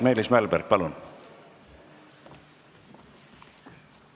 Meelis Mälberg, palun!